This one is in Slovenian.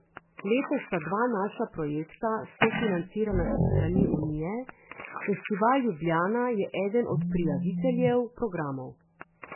Letos sta dva naša projekta sofinancirana s strani Unije, Festival Ljubljana je eden od prijaviteljev programov.